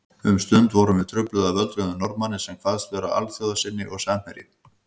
Um stund vorum við trufluð af öldruðum Norðmanni sem kvaðst vera alþjóðasinni og samherji